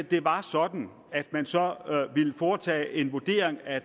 det var sådan at man så ville foretage en vurdering af